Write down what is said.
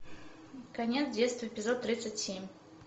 конец детства эпизод тридцать семь